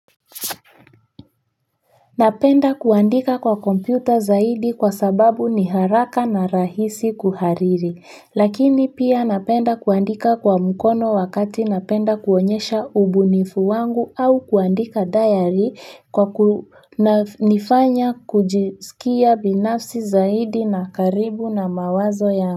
Napenda kuandika kwa kompyuta zaidi kwa sababu ni haraka na rahisi kuhariri, lakini pia napenda kuandika kwa mkono wakati napenda kuonyesha ubunifu wangu au kuandika diary kwa kunifanya kujisikia binafsi zaidi na karibu na mawazo ya.